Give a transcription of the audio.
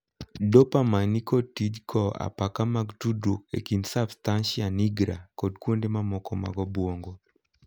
'Dopamine' ni kod tij kowo apaka mag tudruok e kind 'substantia nigra' kod kuonde mamoko mag obuongo.